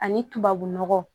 Ani tubabu nɔgɔ